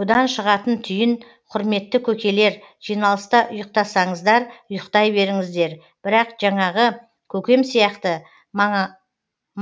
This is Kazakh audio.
бұдан шығатын түйін құрметті көкелер жиналыста ұйықтасаңыздар ұйықтай беріңіздер бірақ жанағы көкем сияқты